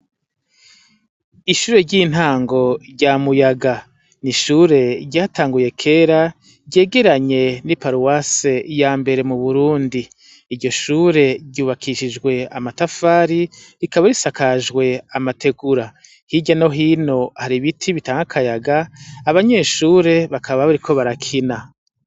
Ishure ry'intango rya muyaga ni ishure ryatanguye kera ryegeranye n'i paruwase ya mbere mu burundi iryo shure ryubakishijwe amatafari rikaba risakajwe amategura hirya no hino hari ibiti bitanke akayaga abanyeshuri ure bakaba bariko barakina.